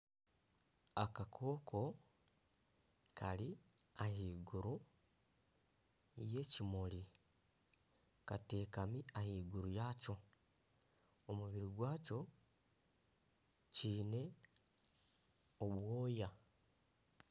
Akakooko kari ah'iguru y'ekimuri katekami ah'iguru yakyo, omubiri gwakyo, kyiine obwooya.